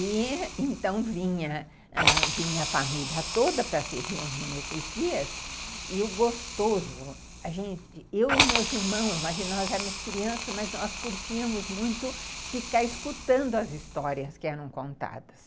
E então vinha ãh vinha a família toda para se reunir nesses dias e o gostoso, a gente, eu e meus irmãos, imagina, nós éramos crianças, mas nós curtíamos muito ficar escutando as histórias que eram contadas.